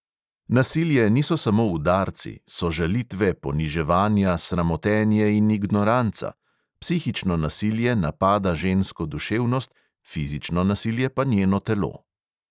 Nasilje niso samo udarci, so žalitve, poniževanja, sramotenje in ignoranca – psihično nasilje napada žensko duševnost, fizično nasilje pa njeno telo.